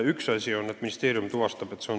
Üks asi on, et ministeerium tuvastab abi andmise.